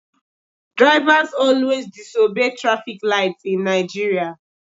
Drivers always disobey traffic light in Nigeria